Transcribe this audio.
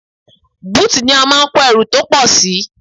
Búùtù ni a máa ń kó ẹrù tí ó pọ̀ sí.